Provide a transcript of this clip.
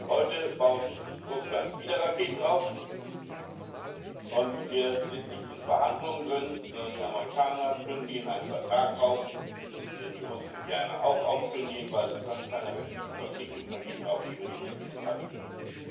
Heute baut Russland wieder Raketen auf, und wir sind nicht in Verhandlungen, sondern die Amerikaner kündigen einen Vertrag auf, den die Russen gerne auch aufkündigen, weil es dann keine rechtlichen Verpflichtungen mehr gibt, auf die wir die Russen hinweisen können.